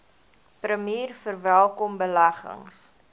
premier verwelkom beleggings